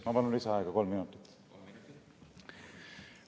Ma palun lisaaega, kolm minutit.